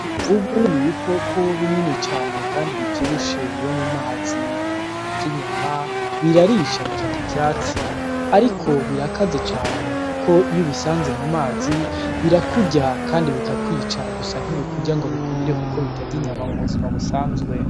Imvubu ni ibikoko binini cane kandi bivyibushe, biba mu mazi. Ntibirya inyama, birarisha bikarya ivyatsi ariko birakaze cane kuko iyo ubisanze mu mazi, birakurya kandi bikakwica gusa ntibikurya ngo bikumire kuko bitarya inyama mu buzima busanzwe.